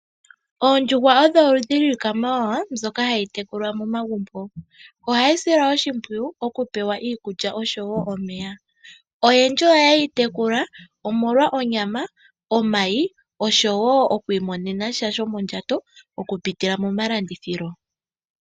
Oondjuhwa odho oludhi lwiikwamawawa mbyoka hayi tekulwa momagumbo ohayi silwa oshimpwiyu okupewa iikulya oshowo omeya , ohayeyi tekula omolwa onyama, omayi oshowo okwiimonena sha shomondjato okupitila momalandithilo.